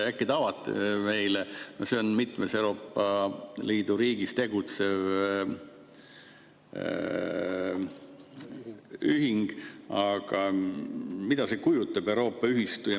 Äkki te avate meile, mida see mitmes Euroopa Liidu riigis tegutsev ühing kujutab, see Euroopa ühistu?